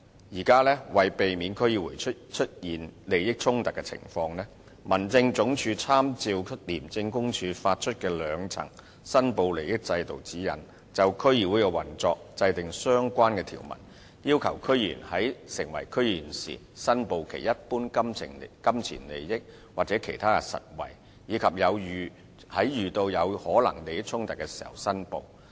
現時，為避免區議員出現利益衝突的情況，民政事務總署參照廉政公署發出的兩層申報利益制度指引，就區議會的運作制定相關條文，要求區議員在成為區議員時申報其一般金錢利益或其他實惠，以及遇到有可能出現利益衝突時申報。